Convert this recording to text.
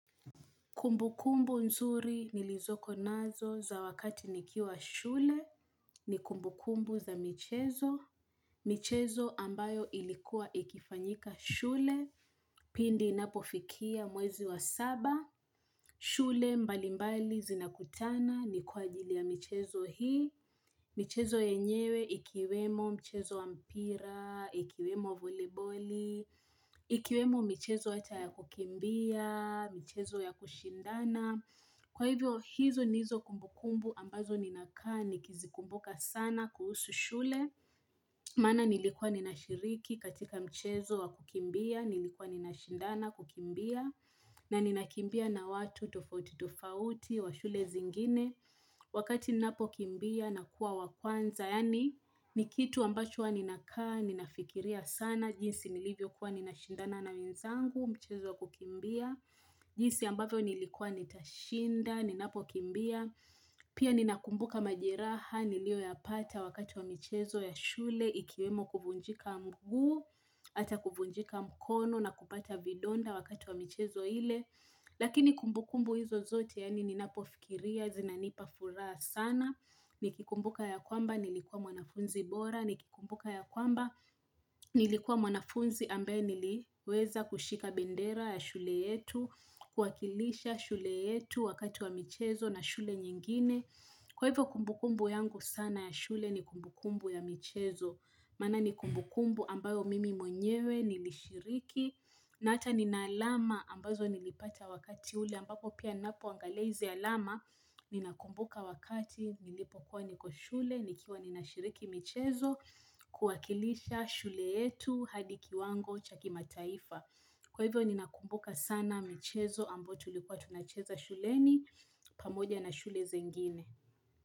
Kumbukumbu nzuri nilizoko nazo za wakati nikiwa shule ni kumbukumbu za michezo. Michezo ambayo ilikuwa ikifanyika shule pindi inapofikia mwezi wa saba. Shule mbali mbali zinakutana ni kwa ajili ya michezo hii. Michezo yenyewe ikiwemo mchezo wa mpira, ikiwemo voliboli. Ikiwemo michezo hata ya kukimbia, michezo ya kushindana. Kwa hivyo hizo ndizo kumbukumbu ambazo ninakaa nikizikumbuka sana kuhusu shule Maana nilikuwa ninashiriki katika mchezo wa kukimbia, nilikuwa ninashindana kukimbia na ninakimbia na watu tofauti tofauti wa shule zingine Wakati ninapokimbia na kuwa wa kwanza Yaani ni kitu ambacho huwa ninakaa, ninafikiria sana jinsi nilivyokuwa ninashindana na wenzangu, mchezo wa kukimbia jinsi ambavyo nilikuwa nitashinda, ninapokimbia Pia ninakumbuka majeraha, niliyoyapata wakati wa michezo ya shule Ikiwemo kuvunjika mguu, hata kuvunjika mkono na kupata vidonda wakati wa michezo ile Lakini kumbukumbu hizo zote yaani ninapofikiria, zinanipa furaha sana Nikikumbuka ya kwamba, nilikuwa mwanafunzi bora Nikikumbuka ya kwamba, nilikuwa mwanafunzi ambaye niliweza kushika bendera ya shule yetu kuwakilisha shule yetu wakati wa michezo na shule nyingine kwa hivyo kumbukumbu yangu sana ya shule ni kumbukumbu ya michezo maana ni kumbukumbu ambayo mimi mwenyewe nilishiriki na hata ninaalama ambazo nilipata wakati ule ambapo pia ninapoangalia hizi alama ninakumbuka wakati nilipokuwa niko shule nikiwa ninashiriki michezo kuwakilisha shule yetu hadi kiwango cha kimataifa. Kwa hivyo ninakumbuka sana michezo ambayo tulikuwa tunacheza shuleni pamoja na shule zengine.